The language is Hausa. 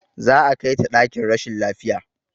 Za a kai ta ɗakin rashin lafiya